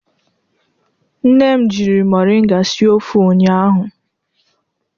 Nne m jiri moringa sie ofe ụnyahụ.